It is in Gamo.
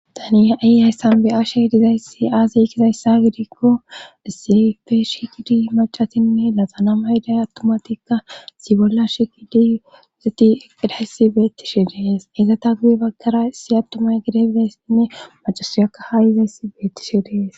Tani ha7iya haysan be7ashe dizayssi aaziy kizayssa gidikko isefe shikidi macatinne lazana mayday attomatikka sibolla shikidi uzeti eqidaysi beettishe dees izata guye baggara isi abtomay gide beessinne macasuyakka haa izayss beettishe dees